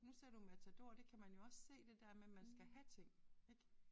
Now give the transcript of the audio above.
Nu ser du Matador det kan man jo også se det der med man skal have ting ik